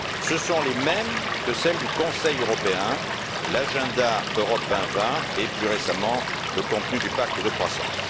Ce sont les mêmes que celles du Conseil européen l'agenda Europe 2020 et, plus récemment, le contenu du pacte de croissance.